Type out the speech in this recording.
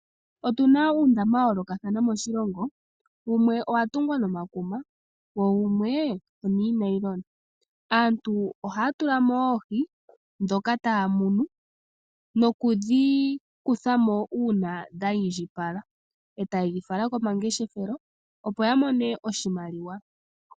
Otuna uundama wayolokathana moshilongo, wumwe owatungwa nomakuma, wo wumwe onoonailona. Aantu oha ya tulamo oohi ndhoka ta ya munu, noku dhi kuthamo uuna dha indjipala, eta ye dhifala komangeshefelo, opo ya mone iimaliwa.